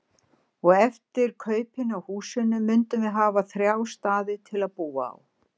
Og eftir kaupin á húsinu mundum við hafa þrjá staði til að búa á.